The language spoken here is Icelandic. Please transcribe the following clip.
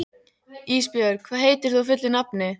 Ísbjörg, hvað heitir þú fullu nafni?